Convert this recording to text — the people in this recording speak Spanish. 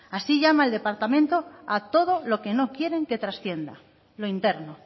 así llama el departamento a todo lo que no quieren que trascienda lo interno